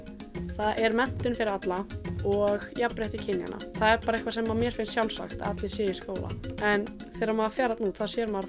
það er menntun fyrir alla og jafnrétti kynjanna það er bara eitthvað sem mér finnst sjálfsagt að allir séu í skóla en þegar maður fer þarna út sér maður